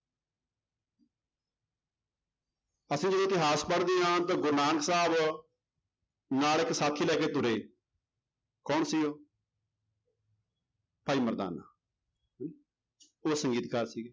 ਅਸੀਂ ਜਦੋਂ ਇਤਿਹਾਸ ਪੜ੍ਹਦੇ ਹਾਂ ਤਾਂ ਗੁਰੂ ਨਾਨਕ ਸਾਹਿਬ ਨਾਲ ਇੱਕ ਸਾਥੀ ਲੈ ਕੇ ਤੁਰੇ ਕੌਣ ਸੀ ਉਹ ਭਾਈ ਮਰਦਾਨਾ ਉਹ ਸੰਗੀਤਕਾਰ ਸੀਗੇ।